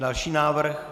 Další návrh?